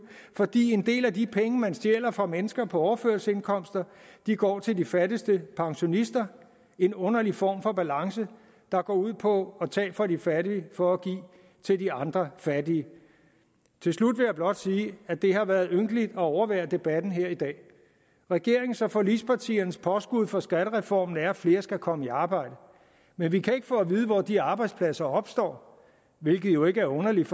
fordi en del af de penge man stjæler fra mennesker på overførselsindkomster går til de fattigste pensionister en underlig form for balance der går ud på at tage fra de fattige for at give til de andre fattige til slut vil jeg blot sige at det har været ynkeligt at overvære debatten her i dag regeringens og forligspartiernes påskud for skattereformen er at flere skal komme i arbejde men vi kan ikke få at vide hvor de arbejdspladser opstår hvilket jo ikke er underligt